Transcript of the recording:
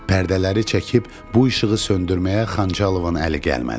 Pərdələri çəkib bu işığı söndürməyə Xançalovun əli gəlmədi.